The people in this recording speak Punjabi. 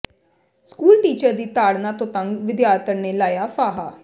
ਸਕੂਲ ਟੀਚਰ ਦੀ ਤਾੜਨਾ ਤੋਂ ਤੰਗ ਵਿਦਿਆਰਥਣ ਨੇੇ ਲਾਇਆ ਫਾਹਾ